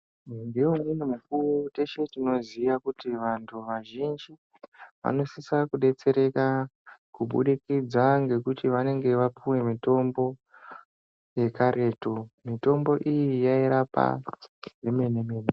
Ngeumweni mukuwo teshe tinoziya kuti vantu vazhinji, vanosisa kudetsereka, kubudikidza ngekuti vanenge vapuwe mitombo, yekaretu. Mitombo iyi yairapa zvemene-mene.